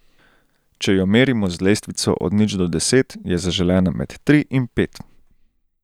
Če jo merimo z lestvico od nič do deset, je zaželena med tri in pet.